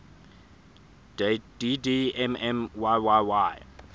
dd mm yyyy